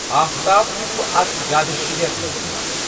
آفتاب تہِ چُھ اتھ جادۂ شیر مَنٛز یوان۔